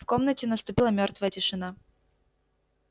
в комнате наступила мёртвая тишина